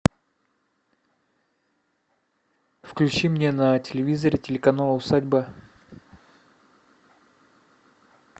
включи мне на телевизоре телеканал усадьба